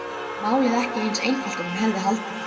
Málið ekki eins einfalt og hann hafði haldið.